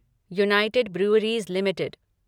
United breweries limited